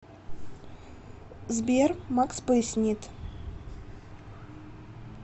сбер макс пояснит